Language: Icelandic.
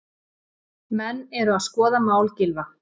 Menn eru að skoða mál Gylfa